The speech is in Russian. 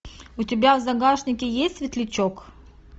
у тебя в загашнике есть светлячок